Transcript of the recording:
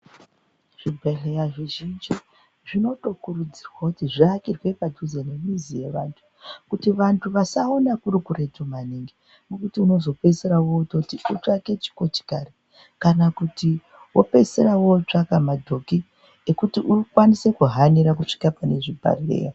Zvibhedhlera zvakawanda zvinokurudzirwe kuti zviake padhuze nemizi yeanthu, kuti vantu vasaona kuri kuretu maningi. Kwekuti unozopedzisira wootoite ekutsvake chikochikari kana kuti wopeisira wootsvaka madhoki ekuti ukone kuhanira kuguma pane zvibhedhlera.